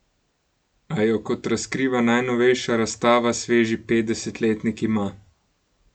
A jo, kot razkriva najnovejša razstava, sveži petdesetletnik ima.